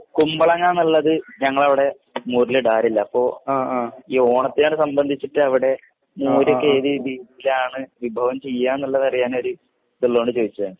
കുമ്പളങ്ങന്ന്ള്ളത് ഞങ്ങളവടെ മോരിലിടാറില്ല അപ്പൊ ഈ ഓണത്തിന് സംബന്ധിച്ചിട്ടവിടെ മോരൊക്കെതിതിലാണ് വിഭവം ചെയ്യാന്ന്ള്ളതറിയാനൊരു ഇത്ള്ളതോണ്ട് ചോയിച്ചതാണ്